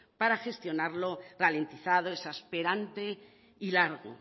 para gestionarlo ralentizado exasperante y largo